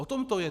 O tom to je.